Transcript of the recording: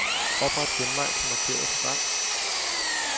Opret genvej til markerede program.